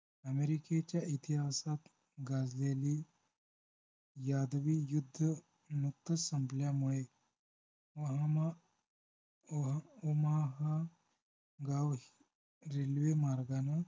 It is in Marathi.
अमेरिकेच्या इतिहासात गाजलेली यादवी युद्ध नुकतंच संपल्यामुळे ओहामा ओह ओमाहा गाव रेल्वे मार्गानं